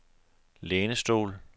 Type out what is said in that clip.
lænestol